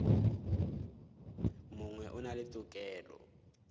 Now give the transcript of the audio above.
mongwe o na le tokelo